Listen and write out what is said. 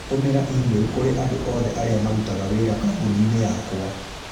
Tũmĩra e-mail kũrĩ andũ othe arĩa marutaga wĩra kambuni-inĩ yakwa